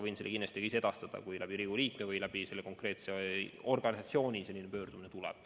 Võin selle ka ise edastada, kui tuleb selline pöördumine Riigikogu liikme või konkreetse organisatsiooni kaudu.